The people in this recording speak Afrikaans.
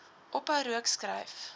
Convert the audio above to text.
ophou rook skryf